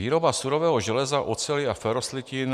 Výroba surového železa, oceli a feroslitin.